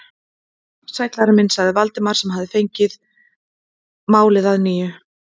Sæll, Ari minn sagði Valdimar sem fengið hafði málið að nýju.